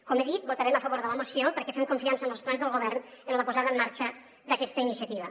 com he dit votarem a favor de la moció perquè fem confiança als plans del govern en la posada en marxa d’aquesta iniciativa